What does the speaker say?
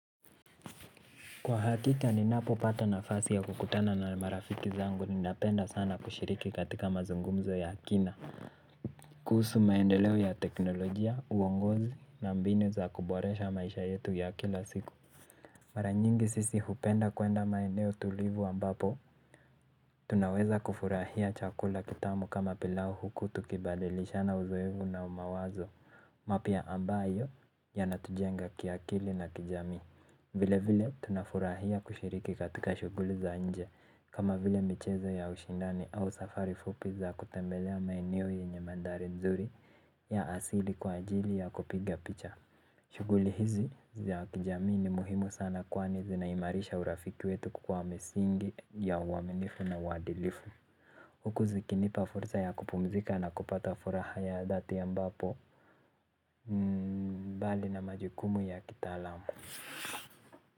Kwa hakika ninapopata nafasi ya kukutana na marafiki zangu ninapenda sana kushiriki katika mazungumzo ya kina. Kuhusu maendeleo ya teknolojia, uongozi na mbinu za kuboresha maisha yetu ya kila siku. Mara nyingi sisi hupenda kuenda maeneo tulivu ambapo. Tunaweza kufurahia chakula kitamu kama pilau huku tukibadilishana uzoefu na mawazo. Mapya ambayo yanatujenga kiakili na kijamii. Vilevile tunafurahia kushiriki katika shughuli za nje kama vile michezo ya ushindani au safari fupi za kutembelea maeneo yenye mandhari nzuri ya asili kwa ajili ya kupiga picha. Shughuli hizi za kijamii ni muhimu sana kwani zinaimarisha urafiki wetu kukua misingi ya uaminifu na uadilifu. Huku zikinipa fursa ya kupumzika na kupata furaha ya dhati ambapo mbali na majukumu ya kitaalamu.